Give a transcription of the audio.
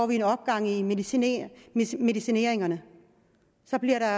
vi en opgang i medicineringerne medicineringerne så bliver der